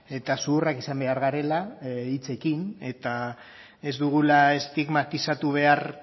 eta zuhurrak izan behar garela hitzekin eta ez dugula estigmatizatu behar